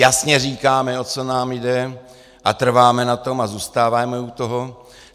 Jasně říkáme, o co nám jde, a trváme na tom a zůstáváme u toho.